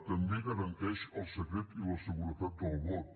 també garanteix el secret i la seguretat del vot